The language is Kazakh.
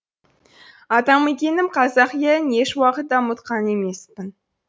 атамекенім қазақ елін еш уақытта ұмытқан емеспін